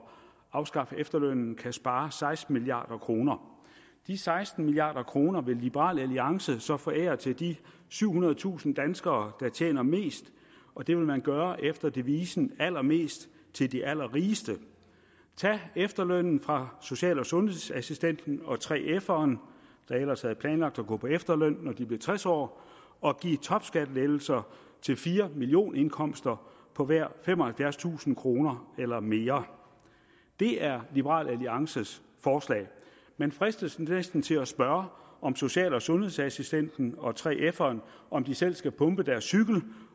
afskaffe efterlønnen kan spare seksten milliard kroner de seksten milliard kroner vil liberal alliance så forære til de syvhundredetusind danskere der tjener mest og det vil man gøre efter devisen allermest til de allerrigeste tag efterlønnen fra social og sundhedsassistenten og 3feren der ellers havde planlagt at gå på efterløn når de blev tres år og giv topskattelettelser til fire millioner kroners indkomster på hver femoghalvfjerdstusind kroner eller mere det er liberal alliances forslag man fristes næsten til at spørge om social og sundhedsassistenten og 3feren selv skal pumpe deres cykel